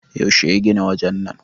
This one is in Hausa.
yaushe ya gina wajen nan!